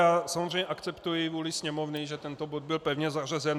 Já samozřejmě akceptuji vůli Sněmovny, že tento bod byl pevně zařazen.